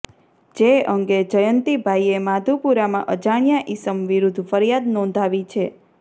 જે અંગે જયંતીભાઈએ માધુપુરામાં અજાણ્યા ઈસમ વિરૂધ્ધ ફરીયાદ નોંધાવી છે